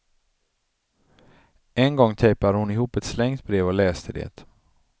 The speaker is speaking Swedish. En gång tejpade hon ihop ett slängt brev och läste det.